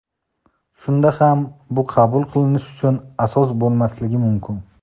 Shunda ham bu qabul qilinish uchun asos bo‘lmasligi mumkin .